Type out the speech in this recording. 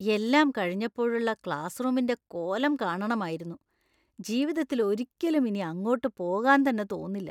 എല്ലാം കഴിഞ്ഞപ്പോളുള്ള ക്ലാസ്‌റൂമിൻ്റെ കോലം കാണണമായിരുന്നു; ജീവിതത്തിലൊരിക്കലും ഇനി അങ്ങോട്ട് പോകാൻ തന്നെ തോന്നില്ല.